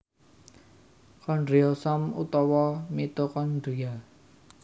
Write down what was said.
Kondriosom utawa mitokondria